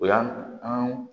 O y'an